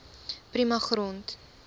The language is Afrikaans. prima grond